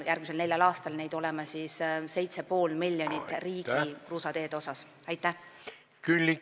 Järgmisel neljal aastal peaks igal aastal raha riigi kruusateede katmiseks mustkattega olema 7,5 miljonit.